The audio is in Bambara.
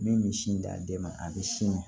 Min bɛ sin d'a den ma a bɛ sin